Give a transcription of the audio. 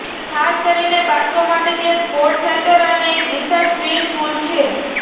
ખાસ કરીને બાળકો માટે ત્યાં સ્પોર્ટ્સ સેન્ટર અને એક વિશાળ સ્વિમિંગ પૂલ છે